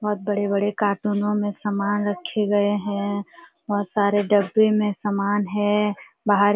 बहोत बड़े-बड़े काटूनों में सामान रखे गए हैं। बहुत सारे डब्बे में सामान है। बाहर --